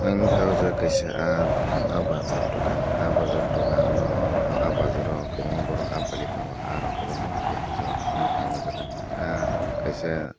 ang nogka o jaga kaisa ah bazar dogan ah bazar dogan no o ah bazar ro kobangma borok ah pailai tango ah rok kobangma kei peljak nogkha o jaga ah kaisa.